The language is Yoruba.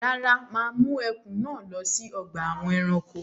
Rárá, mà á mú ẹkùn náà lọ sí ọgbà àwọn ẹranko.